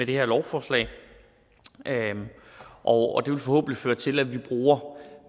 det her lovforslag og det vil forhåbentlig føre til at vi bruger